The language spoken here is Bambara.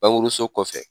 Bangekɔlɔsɔ